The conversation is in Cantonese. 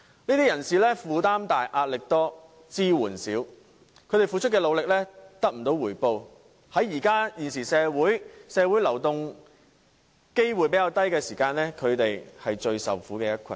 這群人負擔重、壓力大、支援少，他們付出的努力得不到回報，正值現時社會流動性較低，他們便成了最受苦的一群。